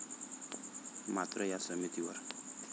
मात्र या समितीवर